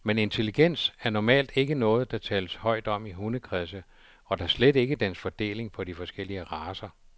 Men intelligens er normalt ikke noget, der tales højt om i hundekredse, og da slet ikke dens fordeling på de forskellige racer.